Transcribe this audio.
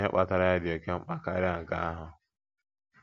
Ihe kpatara ya dị oke mkpa karịa nke ahụ.